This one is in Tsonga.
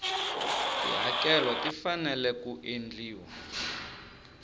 tihakelo ti fanele ku endliwa